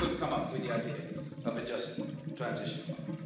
You have come up with the idea of a Just Transition Fund.